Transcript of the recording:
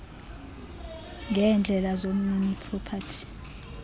ngeendleko zomnini propati